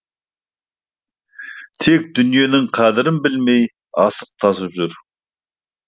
тек дүниенің қадірін білмей асып тасып жүр